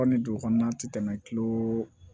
ni dugu kɔnɔna tɛ tɛmɛ kilo